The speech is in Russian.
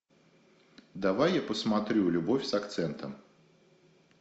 давай я посмотрю любовь с акцентом